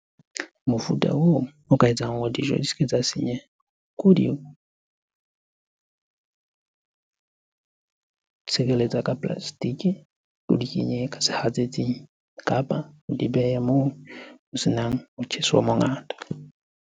Mofuta oo o ka etsang hore dijo di ske tsa senyeha, ke ho di tshireletsa ka plastic. O di kenye ka sehatsetsing kapa o di behe moo o senang motjheso o mongata.